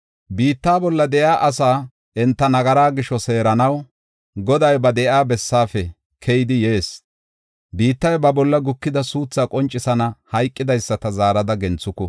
Biitta bolla de7iya asaa, enta nagaraa gisho seeranaw, Goday ba de7iya bessaafe keyidi yees. Biittiya ba bolla gukida suuthaa qoncisana; hayqidaysata zaarada genthuku.